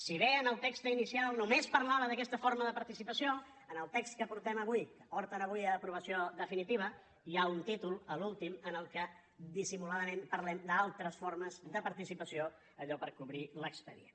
si bé en el text inicial només parlava d’aquesta forma de participació en el text que portem avui que porten avui a aprovació definitiva hi ha un títol l’últim en què dissimuladament parlem d’altres formes de participació allò per cobrir l’expedient